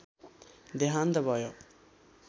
देहान्त भयो